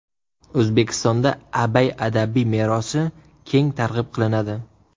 O‘zbekistonda Abay adabiy merosi keng targ‘ib qilinadi.